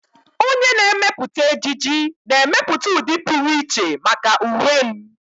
Onye na-emepụta ejiji na-emepụta ụdị pụrụ iche maka uwe m.